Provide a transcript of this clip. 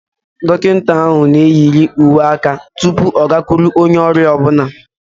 Dọkịta ahụ na-eyiri uwe aka tupu ọ gakwu onye ọrịa ọ bụla